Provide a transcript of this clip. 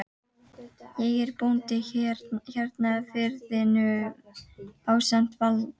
Ég er bóndi hérna í firðinum ásamt Valda